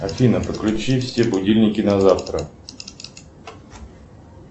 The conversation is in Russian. афина подключи все будильники на завтра